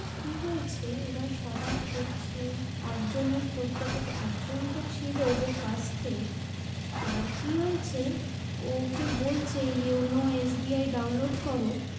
কি হয়েছে এবার সবার করছে একজনের করতে করতে একজন তো ছিল যে first এ তাঁর কি হয়েছে ওকে বলছে যে অন্য SBI download করো